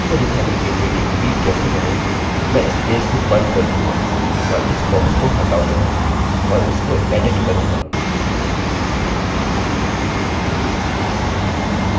आपको दिखाने के लिए कि डिलीट कैसे करेंमैं इस पेज को बंद कर दूँगा और इस बॉक्स को हटाऊँगा और इसको एडिटedit करूँगा